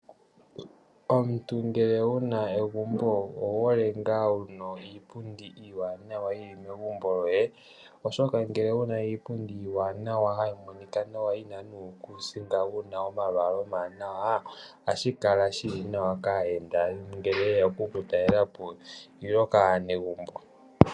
Omuntu ngele wu na egumbo owu hole ngaa wu na iipundi iiwanawa yi li megumbo lyoye, oshoka ngele wu na iipundi iiwanawa hayi monika nawa yi na nuukuusinga wu na omalwaala omawanawa ohashi kala shi li nawa kaayenda ngele ye ya oku ku talela po nenge kaanegumbo.